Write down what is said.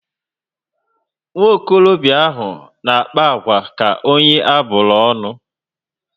Nwokorobia ahụ na akpa agwa ka onye aburu ọṅụ